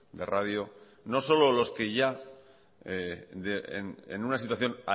de radio no solo los que ya en una situación